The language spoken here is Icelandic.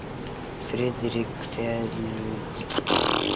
Friðrik velunnarann segja, konur og karla.